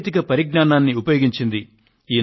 సాంకేతిక పరిజ్ఞానాన్ని ఉపయోగించింది